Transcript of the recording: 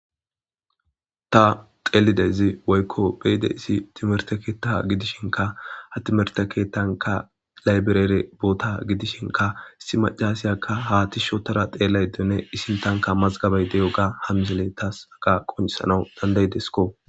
Ta dhelaydayzi woyko be'idaysi timete ketha gidishinka ha timirte kethanka laybirere bota gidishinka issi mac'asiya ha tishi otada dhelayda diyogane issintanka mazgabay de'iyoga ha missiley tas haga qonc'isanaw danda'desko.